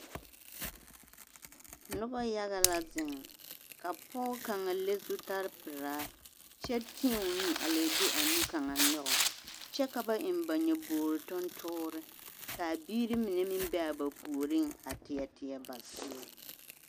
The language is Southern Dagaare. Noba yaga la zeŋ ka pɔge kaŋ le zutare pelaa kyɛ tēɛ o nu a leɛ de a nu kaŋ nyɔge kyɛ ka ba eŋ ba nyobori tontoore k'a biiri mine meŋ be a ba puoriŋ a teɛ teɛ ba seere.